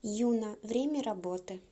юна время работы